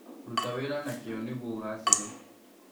Ruta wĩra na kĩŨ nĩguo ũgacĩre.